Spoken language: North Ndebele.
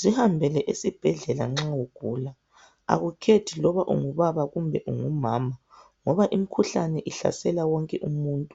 Zihambele esibhedlela nxa ugula akukhethi loba ungubaba kumbe ungumama ngoba imikhuhlane ihlasela wonke umuntu.